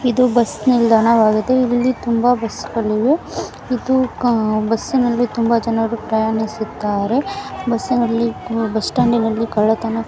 ಇದು ಬಸ್ ನಿಲ್ದಾಣವಾಗಿದೆ ಇಲ್ಲಿ ತುಂಬಾ ಬಸ್ ಗಳಿವೆ ಇದು ಬಸ್ ನಲ್ಲಿ ತುಂಬಾ ಜನರು ಪ್ರಯಾಣಿಸುತ್ತಾರೆ ಬಸ್ ನಲ್ಲಿ ಬಸ್ ಸ್ಟಾಂಡ್ ನಲ್ಲಿ ಕಳ್ಳತನ --